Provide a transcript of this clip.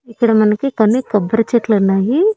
ఇక్కడ మనకి కొన్ని కొబ్బరి చెట్లు ఉన్నాయి.